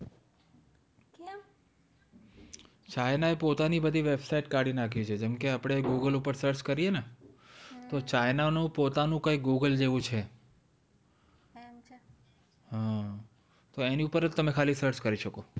china એ પોતાની બધી website કાઢી નાખી છે જેમ કે આપડે google ઉપર search કરીયે ને તો china નું પોતાનું કંઈ google જેવું છે એની ઉપર જ તમે ખાલી search કરી શકો છો